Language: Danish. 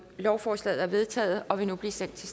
lovforslaget er vedtaget og vil nu blive sendt til